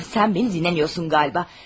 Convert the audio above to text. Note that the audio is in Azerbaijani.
Sən məni dinləmirsən yəqin ki.